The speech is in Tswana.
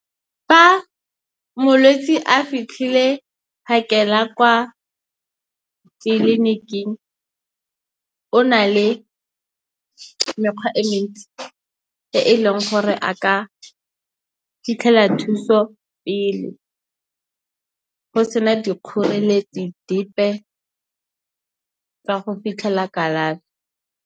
Fa molwetse a fitlhile phakela kwa tleliniking o na le mekgwa e mentsi e e leng gore a ka fitlhela thuso pele, go sena dikgoreletsi dipe tsa go fitlhela kalafi.